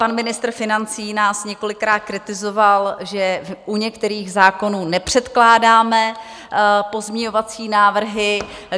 Pan ministr financí nás několikrát kritizoval, že u některých zákonů nepředkládáme pozměňovací návrhy.